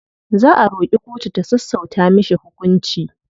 Za a roƙi kotu ta sassauta mishi hukunci.